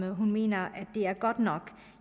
hun mener er godt nok